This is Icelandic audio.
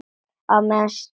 Á meðan stytti upp.